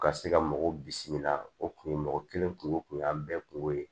Ka se ka mɔgɔw bisimila o kun ye mɔgɔ kelen kungo kun y'an bɛɛ kun ko ye